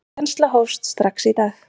Kennsla hófst strax í dag.